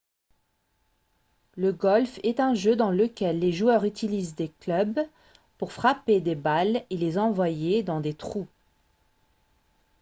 le golf est un jeu dans lequel les joueurs utilisent des clubs pour frapper des balles et les envoyer dans des trous